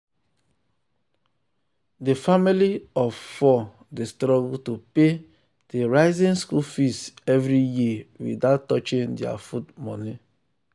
the family of four dey struggle to pay the rising school fees every year without touching their food money.